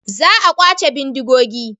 Za a kwace bindigogi.